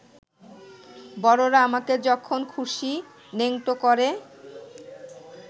বড়রা আমাকে যখন খুশি ন্যাংটো করে